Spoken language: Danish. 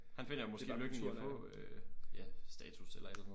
Han finder måske lykken i at få øh ja status eller et eller andet